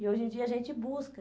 E hoje em dia a gente busca.